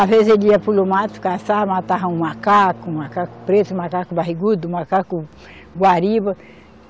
Às vezes ele ia para o meu mato caçar, matava um macaco, um macaco preto, um macaco barrigudo, um macaco guariba.